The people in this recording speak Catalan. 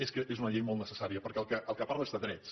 és que és una llei molt necessària perquè del que parla és de drets